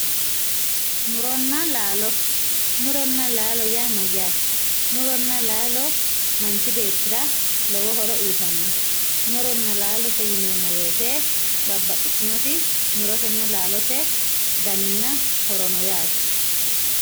Muronna laalo, muronna laalo yaa mayyaate? Muronna laalote yineemmo woyite babbaxxitinoti murotenna laalote daninna horono yaate.